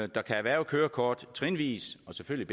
der kan erhverve kørekort trinvis og selvfølgelig